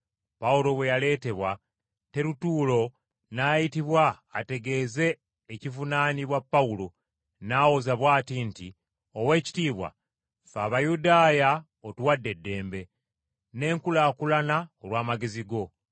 Pawulo bwe yaleetebwa, Terutuulo n’ayitibwa ategeeze ekivunaanibwa Pawulo, n’awoza bw’ati nti, “Oweekitiibwa, ffe Abayudaaya otuwadde eddembe, n’enkulaakulana olw’amagezi go.